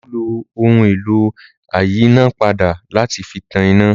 Olú lo ohun-èlò ayínápadà láti fi tan iná.